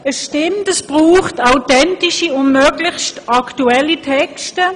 Es stimmt, es braucht authentische und möglichst aktuelle Texte.